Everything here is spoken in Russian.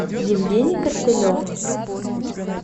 евгений костылев